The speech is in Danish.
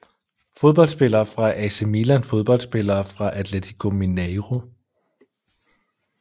Fodboldspillere fra AC Milan Fodboldspillere fra Atletico Mineiro